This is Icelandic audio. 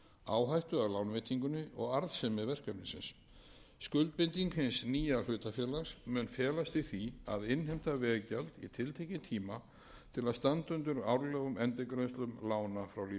því að meta hvert verkefni fyrir sig áhættu af lánveitingunni og arðsemi verkefnisins skuldbinding hins nýja hlutafélags mun felast í því að innheimta veggjald í tiltekinn tíma til að standa undir árlegum endurgreiðslum lána frá lífeyrissjóðunum virðulegi